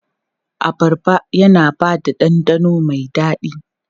Abarba yana ba da ɗanɗano mai daɗi.